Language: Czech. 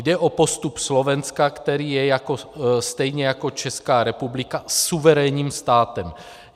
Jde o postup Slovenska, které je stejně jako Česká republika suverénním státem.